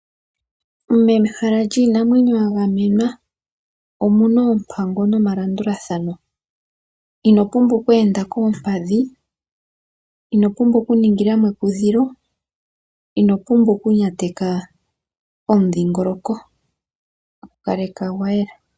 Mehala yiinamwenyo ya gamenwa omuna oompango nomalandulathano, ino pumbwa oku enda koompadhi, ino pumbwa oku ningila mo ekudhilo, ino pumbwa oku nyateka omudhiingoloko, gu kaleka gwa yela.